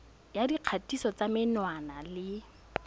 ya dikgatiso tsa menwana le